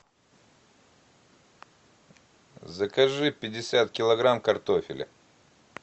закажи пятьдесят килограмм картофеля